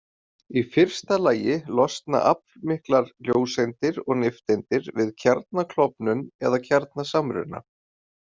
Í fyrsta lagi losna aflmiklar ljóseindir og nifteindir við kjarnaklofnun eða kjarnasamruna.